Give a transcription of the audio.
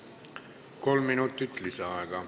Kolm minutit lisaaega.